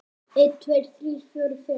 einn. tveir. þrír. fjórir. fimm.